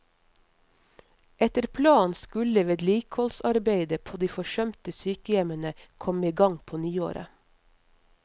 Etter planen skulle vedlikeholdsarbeidet på de forsømte sykehjemmene komme i gang på nyåret.